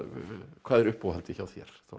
hvað er uppáhaldið hjá þér Þóra